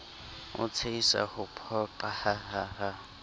o tshehisa ho phoqa hahaha